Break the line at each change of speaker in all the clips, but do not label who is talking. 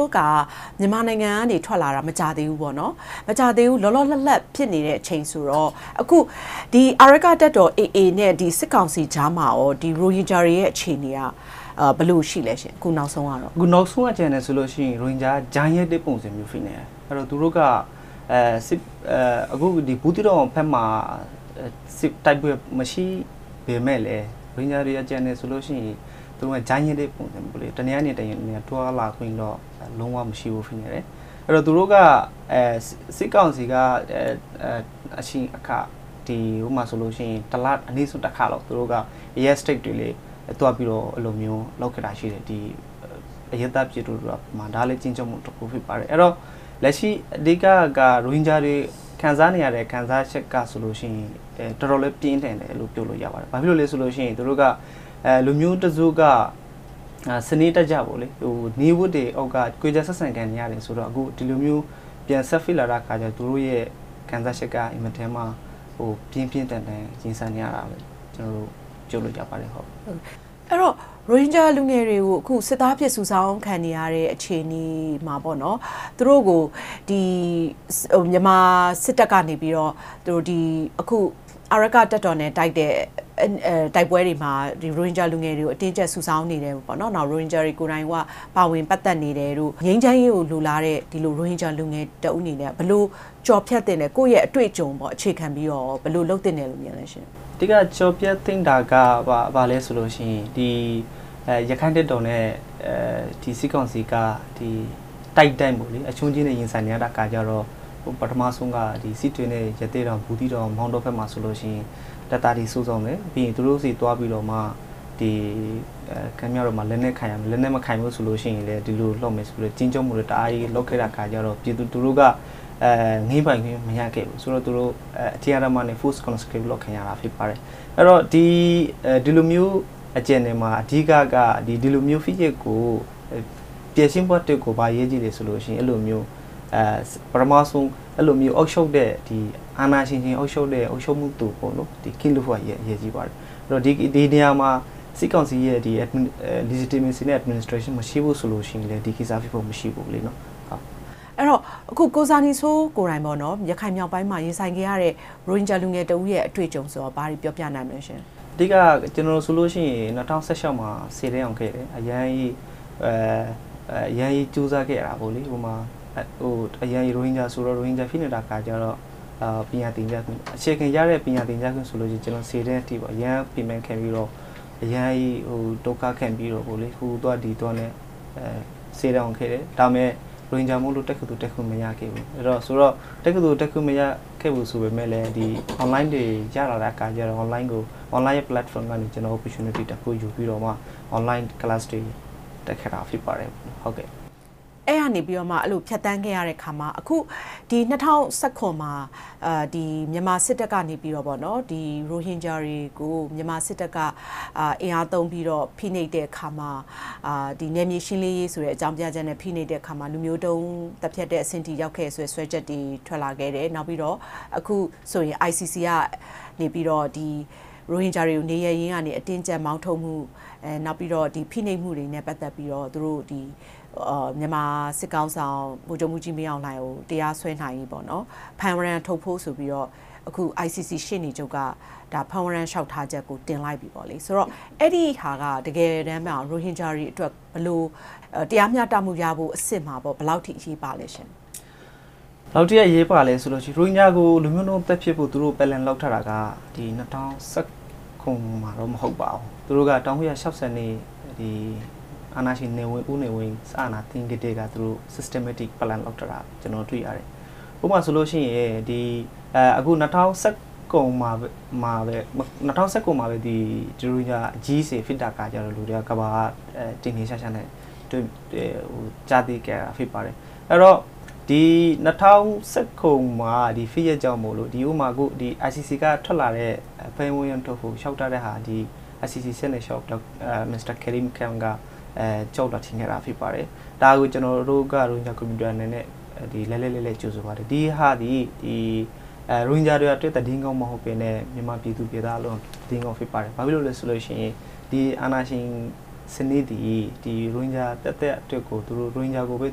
ိုးက မြန်မာနိုင်ငံက ထွက်လာခဲ့တာ မကြာသေးဘူးပေါ့။ လောလောလတ်လတ် ဖြစ်နေတဲ့အချိန်ဆိုတော့ အခု အာရက္ခတပ်တော် နဲ့ စစ်ကောင်စီကြားမှာ ရိုဟင်ဂျာတွေရဲ့ အခုနောက်ဆုံး အခြေအနေက ဘယ်လိုရှိပါသလဲရှင့်။ ကိုဇာနည်စိုး ။
။ အခုနောက်ဆုံးအခြေအနေကတော့ ရိုဟင်ဂျာတွေက ကြားညှပ်တဲ့ပုံစံ ဖြစ်နေတယ်။ သူတို့က အခု ဘူးသီးတောင်ဘက်မှာ တိုက်ပွဲတွေ မရှိပေမဲ့လည်း ရိုဟင်ဂျာတွေ ကျန်နေသေးတယ်ဆိုရင် သူတို့က ကြားညှပ်တဲ့ပုံစံမျိုး - တနေရာနဲ့တနေရာ သွားလာခွင့်တော့ လုံးဝမရှိဘူး။ စစ်ကောင်စီက တစ်လတစ်ခါလောက် အဲဒီနေရာတွေ သွားစစ်တာတွေ ရှိတယ်။ ဒါကလည်း အရပ်သားပြည်သူတွေကို ခြိမ်းခြောက်တာမျိုး ဖြစ်တယ်။ လက်ရှိ အဓိကက ရိုဟင်ဂျာတွေ ခံစားနေရတဲ့ ခံစားချက်က တော်တော်လေး ပြင်းထန်တယ်လို့ ပြောလို့ရပါတယ်။ ဘာကြောင့်လဲဆိုတော့ လူမျိုးတစုက စနစ်တကျ ခွဲခြားဆက်ဆံခံနေရတယ်ဆိုတော့ အခု ဒီလိုမျိုး ပြန်ဆက်ဖိလာတဲ့အခါကြတော့ သူတို့ရဲ့ ခံစားချက်က မထင်မှတ်လောက်ဘဲ ပြင်းပြင်းထန်ထန် ရင်ဆိုင်နေရပါတယ်လို့ ပြောလို့ရပါတယ်။ မေး ။
။ အဲဒီတော့ ရိုဟင်ဂျာ လူငယ်တွေကို အခု စစ်သားအဖြစ် စုဆောင်းခံနေရတဲ့ အခြေအနေမှာ သူတို့ကို မြန်မာစစ်တပ်ကနေ အာရက္ခတပ်တော် တပ်နဲ့ တိုက်နေတဲ့ တိုက်ပွဲတွေမှာ ရိုဟင်ဂျာလူငယ်တွေကို အတင်းအကျပ် စုဆောင်းနေတယ်။ ငြိမ်းချမ်းရေးကို လိုလားနေတဲ့ ကိုဇာနည်စိုးလို လူငယ်တဦးအနေနဲ့ ဘယ်လို နေထိုင်ကျော်ဖြတ်သင့်သလဲ။ ကိုယ့်ရဲ့အတွေ့အကြုံကို အခြေခံပြီးတော့ ဘယ်လိုလုပ်သင့်တယ်လို့ မြင်ပါသလဲရှင့်
။ ဖြေ ။ ။ အဓိကကျော်ဖြတ်သင့်တာက ဘာလဲဆိုရင် ရခိုင့်တပ်တော်နဲ့ စစ်ကောင်စီက တိုက်တိုင်း အရှုံးချည်း ရင်ဆိုင်နေရတဲ့ အခါကြတော့ ပထမဆုံးက စစ်တွေနဲ့ ရသေ့တောင်၊ ဘူးသီးတောင်၊ မောင်းတောတို့ဘက်မှာဆိုရင် တပ်သားတွေ စုဆောင်းမယ်။ ပြီးရင် သူတို့ဆီသွားပြီးတော့မှ လက်နက်ကိုင်ရမယ်။ လက်နက်မကိုင်ရင် ဒီလိုလုပ်မယ်ဆိုပြီးတော့ ခြိမ်းခြောက်မှု့တွေ တအားကြီးလုပ်ခဲ့တာဆိုတော့ ပြည်သူလူထုက ငြင်းပိုင်ခွင့် မရခဲ့ဘူး။ သူတို့ အတင်းအဓ္ဓမနဲ့ Force Conscript လုပ်ခံရတာ ဖြစ်ပါတယ်။ အဲဒီတော့ ဒီလိုမျိုးအခြေအနေမှာ အဓိကက ဒီလိုမျိုး ဖိနှိပ်မှုကို ဖြေရှင်းဖို့က ဘာအရေးကြီးလဲဆိုတော့ ပထမဆုံး အာဏာရှင်တွေ အုပ်ချုပ်တဲ့ အုပ်ချုပ်သူ.... အရေးကြီးပါတယ်။ ဒီနေရာမှာ စစ်ကောင်စီရဲ့ Legitmacy and Administration မရှိဘူးဆိုရင် ဒီကိစ္စကဖြစ်ဖို့ မရှိဘူး။ မေး ။ ။
အဲဒီတော့ ကိုဇာနည်စိုးကိုယ်တိုင် ရခိုင်မြောက်ပိုင်းမှာ ရင်ဆိုင်နေရတဲ့ ရိုဟင်ဂျာလူငယ်တဦးရဲ့ အတွေ့အကြုံဆိုရင် ဘာတွေပြောပြနိုင်မလဲရှင့်
။ ဖြေ ။ ။ အဓိကက ကျနော်ဆိုရင် မှာ ဆယ်တန်းအောင်ခဲ့တယ်။ အရမ်းကြီးကြိုးစားခဲ့တာပေါ့။ ရိုဟင်ဂျာဆိုတော့ ရိုဟင်ဂျာကို ဖိနှိပ်ခံရတဲ့အခါကြတော့ အခြေခံရတဲ့ ပညာသင်ကြားခွင့်ဆိုရင် ဆယ်တန်းအထိ အရမ်းပင်ပန်းခံပြီးတော့ အရမ်းဒုက္ခခံပြီးတော့ ဟိုသွားဒီသွားနဲ့ ဆယ်တန်းအောင်ခဲ့တယ်။ ဒါပေမဲ့ ရိုဟင်ဂျာမို့လို့ တက္ကသိုလ်တက်ခွင့် မရခဲ့ဘူး။ တက္ကသိုလ်တက်ခွင့် မရခဲ့ဖူးဆိုပေမယ့် Online တွေ ရလာတဲ့အခါကြတာ့ Online Platform ကနေ Opportunity တခုယူပြီးတော့မှ Online Class တွေတက်ခဲ့တာ ဖြစ်ပါတယ်။ မေး ။ ။ အ
ဲဒီကနေပြီးမှ ဖြတ်သန်းခဲ့ရတဲ့အခါမှာ အခု မှာ မြန်မာစစ်တပ်ကနေပြီးတော့ ရိုဟင်ဂျာတွေကို မြန်မာစစ်တပ်က အင်အားသုံးပြီးတော့ ဖိနှိပ်တဲ့အခါမှာ နယ်မြေရှင်းလင်းရေးဆိုတဲ့ အကြောင်းပြချက်နဲ့ ဖိနှိပ်တဲ့အခါမှာ လူမျိုးတုံးသတ်ဖြတ်တဲ့အဆင့်ထိ ရောက်ခဲ့တယ်ဆိုပြီး စွဲချက်တွေ ထွက်ခဲ့တယ်။ နောက်ပြီးတော့ အခုဆိုရင် ICC ကနေပြီးတော့ ရိုဟင်ဂျာတွေကို နေရပ်ရင်းကနေ အတင်းအကျပ်မောင်းထုတ်မှု့၊ နောက်ပြီးရင် ဖိနှိပ်မှုတွေနဲ့ ပတ်သက်ပြီးတော့ မြန်မာစစ်ကောင်စီခေါင်းဆောင် ဗိုလ်ချုပ်မှူးကြီးမင်းအောင်လှိုင်ကို တရားစွဲနိုင်ရေး ဖမ်းဝရံထုတ်ဖို့ဆိုပြီး ICC ရှေ့နေချုပ်က ဖမ်းဝရံလျှောက်ထားချက်ကို တင်လိုက်ပြီ။ အဲ့ဒါက တကယ်တမ်းမှာ ရိုဟင်ဂျာတွေအတွက်ကို ဘယ်လို တရားမျှတမှုရဖို့အဆင့်မှာ ဘယ်လောက်ထိ အရေးပါလဲရှင့်။
ဖြေ ။ ။ ဘယ်လောက်ထိ အရေးပါလဲဆိုရင် ရိုဟင်ဂျာကို လူမျိုးတုံးသတ်ဖြတ်ဖို့ သူတို့ Plan လုပ်ထားတာက ၂၀၁၇ မှာတော့ မဟုတ်ပါဘူး။ သူတို့က ၁၉၆၂ အာဏာရှင် ဦးနေဝင်း စစ်အာဏာသိမ်းကတည်းက Systematic Plan လုပ်ထားတာကို ကျနော် တွေ့ရတယ်။ ဥပမာဆိုလို့ရှိရင် ၂၀၁၇ မှာပဲ ရိုဟင်ဂျာအရေးဖြစ်တော့ ကမ္ဘာက ထင်ထင်ရှားရှားနဲ့ ကြားသိခဲ့ရတာ ဖြစ်ပါတယ်။ အဲဒီတော့ ၂၀၁၇ ဖြစ်ရပ်ကြောင်းမို့ ICC ကထွက်လာတဲ့ ဖမ်းဝရံအတွက်ကို လျှောက်ထားတာက ဒီ ICC ကနေ Mr. Karim Khan က လျှောက်လွှာတင်ခဲ့တာ ဖြစ်ပါတယ်။ ဒါကို ကျနော်တို့ ရိုဟင်ဂျာ Community က လှိုက်လှိုက်လှဲလှဲ ကြိုဆိုပါတယ်။ ဒီဟာသည် ရိုဟင်ဂျာတွေအတွက် သတင်းကောင်းမဟုတ်ဘဲနဲ့ မြန်မာပြည်သူပြည်သားအားလုံးအတွက်လည်း သတင်းကောင်း ဖြစ်ပါတယ်။ ဘာဖြစ်လို့လဲဆိုရင် ဒီအာဏာရှင်စနစ်သည် ရိုဟင်ဂျာ သက်သက်အတွက်ကို ရိုဟင်ဂျာကိုပဲ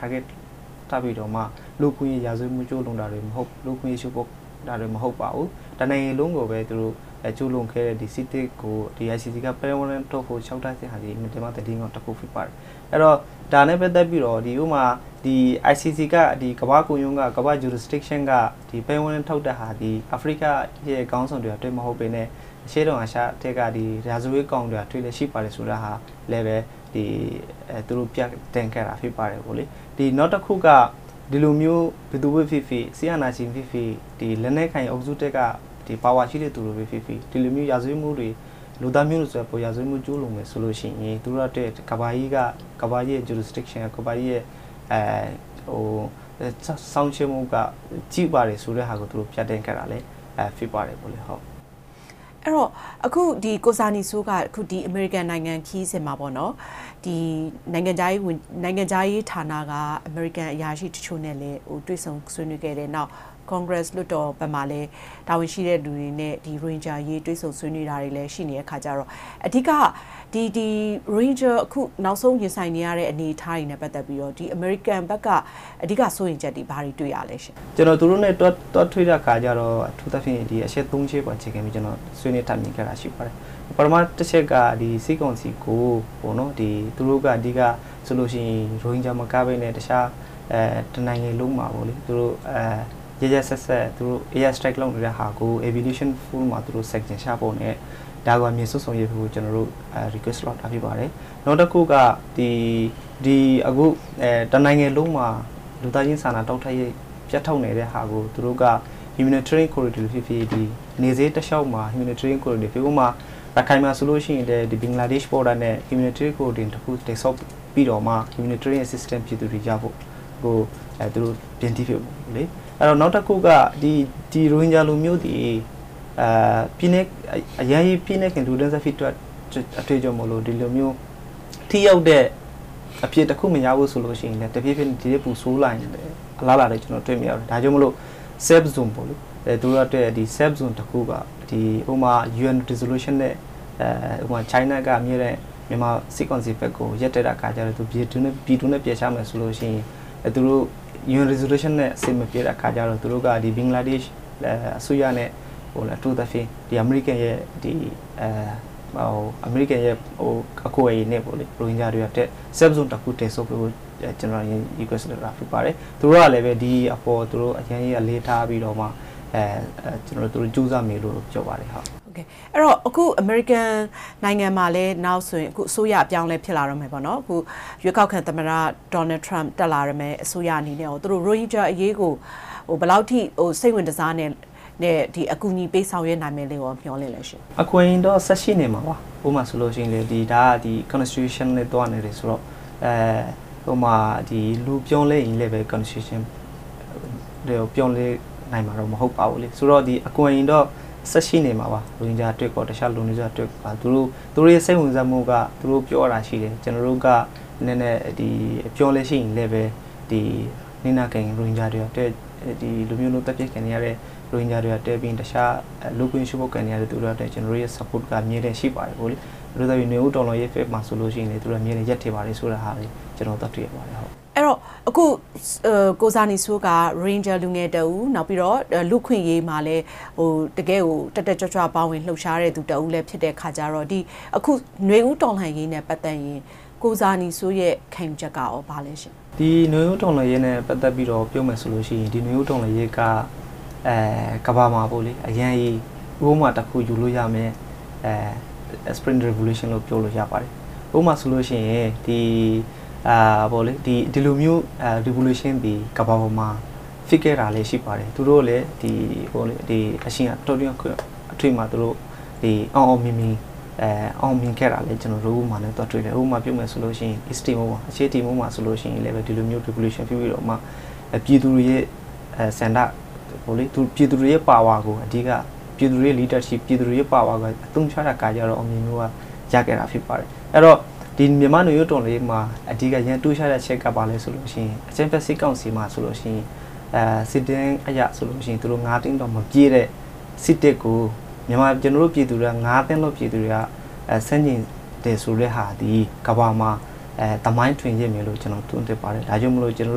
Target ထားပြီးတော့မှ လူ့အခွင့်အရေး ရာဇဝတ်မှု ကျူးလွန်တာတွေကို၊ လူ့အခွင့်အရေး ချိုးဖောက်တာတွေ မဟုတ်ပါဘူး။ တနိုင်ငံလုံးကိုပဲ ကျူးလွန်းခဲ့တဲ့ စစ်တပ်ကို ICC က ဖမ်းဝရံထုတ်ဖို့ လျှောက်ထားတာက သတင်းကောင်းတခု ဖြစ်ပါတယ်။ အဲဒီတော့ ဒါနဲ့ပတ်သက်ပြီးတာ့ ICC က ကမ္ဘာ့ခုံရုံးက ဒီ ဖမ်းဝရံထုတ်တာသည် အာဖရိကခေါင်းဆောင်တွေပဲ မဟုတ်ဘဲနဲ့ အရှေ့တောင်အာရှထဲက ရာဇဝတ်ကောင်တွေလည်း ရှိပါတယ် ဆိုတာဟာလည်းပဲ သူတို့ ပြသခဲ့တာ ဖြစ်ပါတယ်။ နောက်တခုက ဒီလိုမျိုး ဘယ်သူပဲဖြစ်ဖြစ်၊ စစ်အာဏာရှင်ဖြစ်ဖြစ်၊ လက်နက်ကိုင်အုပ်စုထဲက ပါဝါရှိတဲ့သူပဲဖြစ်ဖြစ် ဒီလိုမျိုး ရာဇဝတ်မှုတွေ၊ လူသားမျိုးနွယ် ရာဇဝတ်မှု ကျူးလွန်မယ်ဆိုရင် သူတို့အတွက် ကမ္ဘာကြီးရဲ့ jurisdiction စောင့်ကြည့်နေပါတယ်ဆိုတာကို ပြသခဲ့တာ ဖြစ်ပါတယ်။ မေး ။ ။ အ
ဲဒီတော့ အခု ကိုဇာနည်စိုးက အမေရိကန်နိုင်ငံခရီးစဥ်မှာ နိုင်ငံခြားရေးဌာနက အမေရိကန်အရာရှိတချို့နဲ့လည်း တွေ့ဆုံဆွေးနွေးခဲ့တယ်။ နောက် Congress လွှတ်တော်ဘက်မှာလည်း တာဝန်ရှိတဲ့သူတွေနဲ့ ရိုဟင်ဂျာအရေး တွေ့ဆုံဆွေးနွေးတာတွေလည်း ရှိနေတဲ့အခါကြတော့ အဓိက ရိုဟင်ဂျာတွေ နောက်ဆုံး ရင်ဆိုင်နေရတဲ့ အနေအထားတွေနဲ့ ပတ်သက်ပြီးတော့ အမေရိကန်ဘက်က အဓိက စိုးရိမ်ချက်သည် ဘာတွေတွေ့ရလဲ။ ဖြေ ။
။ ကျနော် သူတို့နဲ့ သွားတွေ့တဲ့အခါကြတော့ အထူးသဖြင့် အချက် ချက်ပေါ် အခြေခံပြီး ဆွေးနွေးတိုင်ပင်ခဲ့တာ ရှိပါတယ်။ ပထမတချက်က စစ်ကောင်စီကို သူတို့ဘက်က အဓိက ရိုဟင်ဂျာမကဘဲနဲ့ အခြားတနိုင်ငံလုံးမှာ ရက်ရက်စက်စက် Air Strike လုပ်နေတာကို Resolution နဲ့ Sanction ချဖို့ကို အမြန်ဆုံးဆောင်ရွက်ပေးဖို့ ကျနော်တို့ တောင်းဆိုခဲ့ပါတယ်။ နောက်တခုက အခု တနိုင်ငံလုံးမှာ လူသားချင်းစာနာမှု ထောက်ပံ့ပေးမှု ပြတ်တောက်နေတဲ့ဟာကို သူတို့က Humanitarian Corridor ဖြစ်ဖြစ် နယ်စပ်တလျှောက်မှာ - ရခိုင်မှာဆိုရင် ဘင်္ဂလားဒေ့ရှ် အကူအညီနဲ့ Humanitarian Corridor တခု တည်ဆောက်ပြီးတော့မှာ Humanitarian assistance ပြည်သူတွေရဖို့။ နောက်တခုက ရိုဟင်ဂျာလူမျိုးသည် အရမ်းကြီး ဖိနှိပ်ခံလူတန်းစား ဖြစ်တဲ့အတွက်ကြောင့် ဒီလိုမျိုး ထိရောက်တဲ့ အဖြေတခုမရဘူးဆိုရင် တဖြည်းဖြည်း ဒီထက်ပိုဆိုးတဲ့ အလားအလာကို ကျနော် တွေ့မြင်ရတယ်။ ဒါကြောင့်မို့ လိုအပ်တဲ့ Safe Zone တခု - ဥပမာ UN Resolution နဲ့ China က အမြဲတမ်း မြန်မာစစ်ကောင်စီဘက်ကို ရပ်တဲ့အခါကြတော့ ပြည်တွင်းကို ပြန်ပို့မယ်ဆိုရင် သူတို့ UN Resolution နဲ့ အဆင်မပြေတဲ့အခါကြတော့ သူတို့က ဘင်္ဂလားဒေ့ရှ်အစိုးရနဲ့ အထူးသဖြင့် အမေရိကန်ရဲ့ အကူအညီနဲ့ပေါ့လေ ရိုဟင်ဂျာတွေအတွက် Safe Zone တခု တည်ဆောက်ပေးဖို့ ကျနော် Request လုပ်တာ ဖြစ်ပါတယ်။ သူတို့ကလည်း ဒီအပေါ်ကို အရမ်းကြီးအလေးထားပြီးတော့မှ သူတို့ ကြိုးစားမယ်လို့ ပြောပါတယ်။ မေး ။ ။ အဲ
ဒီတော့ အခု အမေရိကန်နိုင်ငံမှာလည်း နောက်ဆို အစိုးရအပြောင်းအလဲ ဖြစ်လာတော့မယ်။ ရွေးကောက်ခံသမ္မတ ဒေါ်နယ်ထရန့် တက်လာမယ့် အစိုးရအနေနဲ့ကော သူတို့ ရိုဟင်ဂျာအရေးကို ဘယ်လောက်ထိ စိတ်ဝင်တစားနဲ့ အကူအညီ ပေးဆောင်ရွက်နိုင်မယ်လို့ မျှော်လင့်လဲရှင့်
။ ဖြေ ။ ။ အကူအညီတွေကတော့ ဆက်ရှိနေမှာပါ။ ဥပမာအနေနဲ့ဆိုရင် Constitution နဲ့ သွားနေတယ်ဆိုတော့ လူအပြောင်းအလဲပေမယ့် Constitution ပြောင်းလဲနိုင်မှာတော့ မဟုတ်ပါဘူး။ ဆိုတော့ အကူအညီတော့ ဆက်ရှိနေမှာပါ ရိုဟင်ဂျာအတွက်ကော အခြားလူနည်းစုတွေအတွက်ကော။ သူတို့ရဲ့ စိတ်ဝင်စားမှုက သူတို့ ပြောသွားတာရှိတယ်။ “ကျနော်တို့က အပြောင်းအလဲရှိရင်လည်းပဲ၊ ဒီလို လူမျိုးတုံး သတ်ဖြတ်ခံနေရတဲ့ ရိုဟင်ဂျာတွေအတွက်၊ ပြီးရင် အခြား လူ့အခွင့်အရေး ချိုးဖောက်ခံနေရတဲ့သူတွေအတွက် ကျနော်တို့ရဲ့ Support က အမြဲတမ်းရှိနေပါတယ်” - နွေဦးတော်လှန်ရေးဘက်မှာ ဆိုရင်လည်း သူတို့က အမြဲတမ်း ရပ်တည်ပါတယ်ဆိုတာကို တွေ့ရပါတယ်။ မေး ။ ။
အဲဒီတော့ အခု ကိုဇာနည်စိုးက ရိုဟင်ဂျာလူငယ်တဦး၊ လူ့အခွင့်အရေးမှာလည်း တကယ့်ကို တက်တက်ကြွကြွ ပါဝင်လှုပ်ရှားတဲ့သူလည်း ဖြစ်တဲ့အတွက်ကြောင့် အခု နွေဦးတော်လှန်ရေးနဲ့ ပတ်သက်ရင် ကိုဇာနည်စိုးရဲ့ ခံယူချက်ကကော ဘာလဲရှင့်
။ ဖြေ ။ ။ ဒီနွေဦးတော်လှန်ရေးနဲ့ ပတ်သက်ပြီး ပြောမယ်ဆိုရင် ဒီနွေဦးတော်လှန်ရေးက ကမ္ဘာမှာ ဥပမာတခု ယူလို့ရမယ့် Spring Revolution လို့ ပြောလို့ရပါတယ်။ ဥပမာဆိုလို့ရှိရင် ဒီလိုမျိုး Revolution သည် ကမ္ဘာပေါ်မှာ ဖြစ်ခဲ့တာလည်း ရှိပါတယ်။ သူတို့ အချိန်အတောအတွင်းတခုမှာ အောင်အောင်မြင်မြင် အောင်မြင်ခဲ့တာလည်း ကျနော်တို သွားတွေ့ရပါတယ်။ ဥပမာပြောမယ်ဆိုရင် East Timor အရှေ့တီမောမှာ ဆိုရင်လည်း ဒီလိုမျိုး Revolution ဖြစ်ပြီးတော့မှ ပြည်သူတွေရဲ့ ဆန္ဒ၊ ပြည်သူတွေရဲ့အာဏာကို အဓိက ပြည်သူတွေရဲ့ leadership ကို အသုံးချခဲ့တာကြောင့် အောင်မြင်မှုရခဲ့တာ ဖြစ်ပါတယ်။ မြန်မာ့နွေဦးတော်လှန်ရေးမှာလည်း အဓိကထူးခြားတဲ့အချက်က ဘာလဲဆိုတော့ အကြမ်းဖက် စစ်ကောင်စီမှာဆိုရင် စစ်တမ်းအရဆိုရင် သူတို့ သိန်းတောင် မပြည့်တဲ့ စစ်တပ်ကို ကျနော်တို့ ပြည်သူတွေက သန်းလောက် ပြည်သူတွေက ဆန့်ကျင်တယ်ဆိုတဲ့ဟာသည် ကမ္ဘာမှာ သမိုင်းတွင်ခဲ့မယ်လို့ ကျနော် သုံးသပ်ပါတယ်။ ဒါကြောင့်မို့ ကျနော်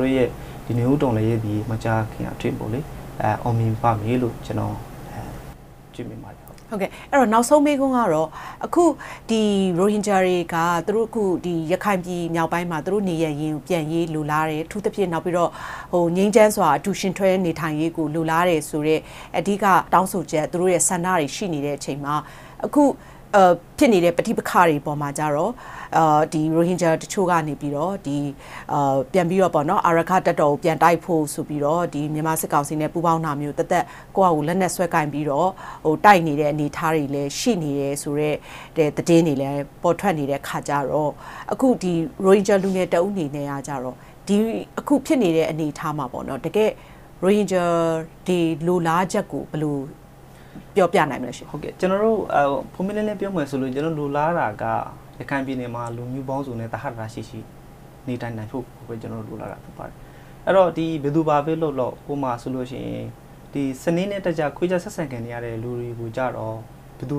တို့ရဲ့ နွေဦးတော်လှန်ရေးသည် မကြာခင်အတွင်း အောင်မြင်ပါမယ်လို့ ကျနော် တွေ့မြင်ပါတယ်။ မေး ။ ။
နောက်ဆုံးမေးခွန်းကတော့ အခု ရိုဟင်ဂျာတွေက ရခိုင်ပြည်မြောက်ပိုင်းမှာ သူတို့နေရပ်ကိုပြန်ရေးကို လိုလားတယ်။ အထူးသဖြင့် နောက်ပြီးတော့ ငြိမ်းချမ်းစွာ အတူယဉ်တွဲနေထိုင်ရေးကို လိုလားတယ်ဆိုတဲ့ အဓိက တောင်းဆိုချက် ဆန္ဒတွေ ရှိနေတဲ့အချိန်မှာ အခုဖြစ်နေတဲ့ ပဋိပက္ခတွေပေါ်မှာ ရိုဟင်ဂျာတချို့က ပြန်ပြီးတော့ အာရက္ခတပ်တော်ကို ပြန်တိုက်ဖို့ဆိုပြီးတော့ မြန်မာစစ်ကောင်စီနဲ့ ပူးပေါင်းတာမျိုး၊ သီးသန့် ကိုယ်ဘာသာ လက်နက်ဆွဲကိုင်ပြီး တိုက်နေတဲ့ အနေအထားတွေ ရှိနေတယ်ဆိုတဲ့ သတင်းတွေလည်း ပေါ်ထွက်နေတဲ့အခါကြတော့ ရိုဟင်ဂျာလူငယ်တဦးအနေနဲ့ အခုဖြစ်နေတဲ့ အနေအထားမှာ ရိုဟင်ဂျာတွေရဲ့ တကယ့်လိုလားချက်ကို ဘယ်လို
ပြောပြနိုင်မလဲရှင့်။ ဖြေ ။ ။ ပွင့်ပွင့်လင်းလင်း ပြောရမယ်ဆိုရင် ကျနော်တို့ လိုလားတာက ရခိုင်ပြည်နယ်မှာ လူမျိုးပေါင်းစုံနဲ့ သဟဇာတရှိရှိ နေထိုင်နိုင်ဖို့ကို လိုလားပါတယ်။ အဲဒီတော့ ဘယ်သူ ဘာပဲလုပ်လုပ် ဥပမာအားဖြင့် စနစ်တကျ ခွဲခြားဆက်ဆံခံနေရတဲ့ လူတွေကြတော့ ဘယ်သူ